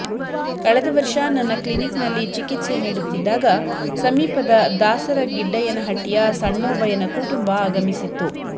ಕಳೆದ ವರ್ಷ ನನ್ನ ಕ್ಲಿನಿಕ್ನಲ್ಲಿ ಚಿಕಿತ್ಸೆ ನೀಡುತ್ತಿದ್ದಾಗ ಸಮೀಪದ ದಾಸರ ಗಿಡ್ಡಯ್ಯನಹಟ್ಟಿಯ ಸಣ್ಣೋಬಯ್ಯನ ಕುಟುಂಬ ಆಗಮಿಸಿತ್ತು